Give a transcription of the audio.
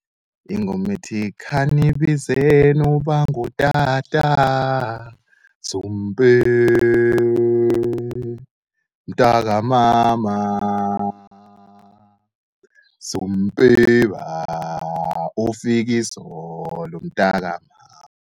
Ingome ethi, khanibizeni ubangutata zumbe mntakamama, zumpere bafiki zolo umntakamama.